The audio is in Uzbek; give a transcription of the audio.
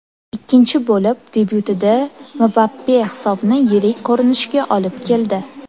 Ikkinchi bo‘lim debyutida Mbappe hisobni yirik ko‘rinishga olib keldi.